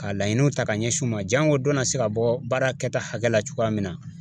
Ka laɲiniw ta ka ɲɛsin u ma jango dɔ na se ka bɔ baara kɛta hakɛ la cogoya min na